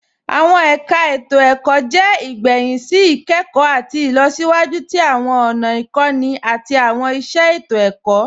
Awọn ẹ̀kà ètò-ẹ̀kọ̀ jẹ́ igbẹ̀hìn sí ikẹkọ̀ àti ilọ̀síwájú tí awọn ọ̀nà ikọ̀nì àti awọn iṣẹ ètò-ẹ̀kọ̀.